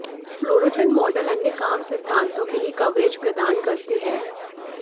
fluorescent model अन्य काम सिद्धांतों के लिए कवरेज प्रदान करते हैं